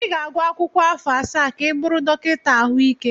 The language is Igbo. Ị ga-agụ akwụkwọ afọ asaa ka ị bụrụ dọkịta ahụike.